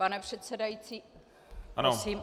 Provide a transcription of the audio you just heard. Pane předsedající, prosím o klid.